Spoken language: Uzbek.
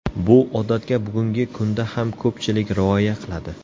Bu odatga bugungi kunda ham ko‘pchilik rioya qiladi.